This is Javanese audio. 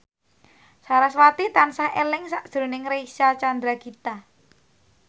sarasvati tansah eling sakjroning Reysa Chandragitta